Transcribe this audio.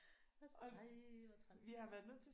Ej hvor træls